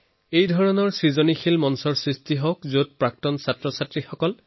creative প্লেটফৰ্মৰ বিকাশ কৰক যাতে এলুমনাইৰ সক্ৰিয় অংশগ্ৰহণ হব পাৰে